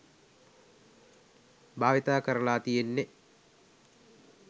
භාවිත කරලා තියෙන්නේ